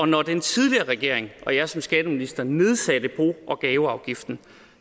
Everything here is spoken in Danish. når den tidligere regering og jeg som skatteminister nedsatte bo og gaveafgiften